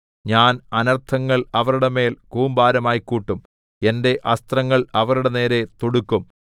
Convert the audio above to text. ഞാൻ അനർത്ഥങ്ങൾ അവരുടെ മേൽ കൂമ്പാരമായി കൂട്ടും എന്റെ അസ്ത്രങ്ങൾ അവരുടെ നേരെ തൊടുക്കും